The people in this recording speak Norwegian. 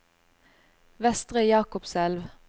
Vestre Jakobselv